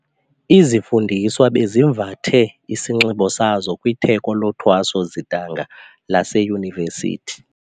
Izifundiswa bezivathe isinxibo sazo kwitheko lothweso-zidanga laseyunivesithi.